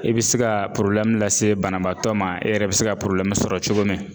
E bi se ka lase banabaatɔ ma e yɛrɛ bi se ka sɔrɔ cogo min.